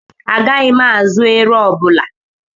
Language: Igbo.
Agaghị m azụ ero ọbụla.